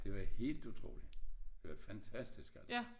Det var helt utroligt det var fantastisk altså